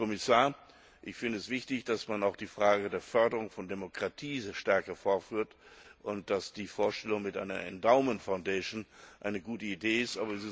Herr Kommissar, ich finde es wichtig, dass man auch die Frage der Förderung von Demokratie stärker vorführt und dass die Vorstellung mit einer endowment foundation eine gute Idee ist.